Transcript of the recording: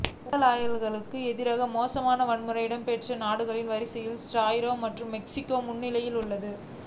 ஊடகவியலாளர்களுக்கு எதிராக மோசமான வன்முறை இடம்பெறும் நாடுகள் வரிசையில் ரஸ்யா மற்றும் மெக்சிக்கோ முன்னிலையிலுள்ளன